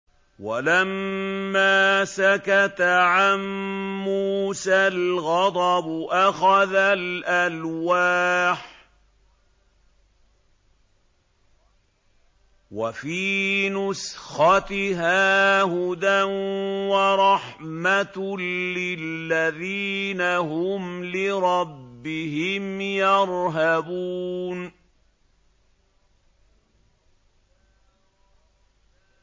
وَلَمَّا سَكَتَ عَن مُّوسَى الْغَضَبُ أَخَذَ الْأَلْوَاحَ ۖ وَفِي نُسْخَتِهَا هُدًى وَرَحْمَةٌ لِّلَّذِينَ هُمْ لِرَبِّهِمْ يَرْهَبُونَ